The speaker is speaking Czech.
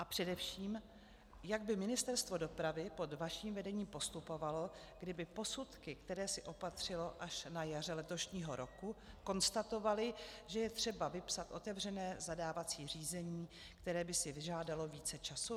A především, jak by Ministerstvo dopravy pod vaším vedením postupovalo, kdyby posudky, které si opatřilo až na jaře letošního roku, konstatovaly, že je třeba vypsat otevřené zadávací řízení, které by si vyžádalo více času?